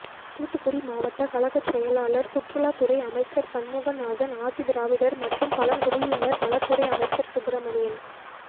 தூத்துக்குடி மாவட்டக் கழகச் செயலாளர் சுற்றுலாத் துறை அமைச்சர் சண்முகநாதன் ஆதிதிராவிடர் மற்றும் பழங்குடியினர் நலத் துறை அமைச்சர் சுப்ரமணியன்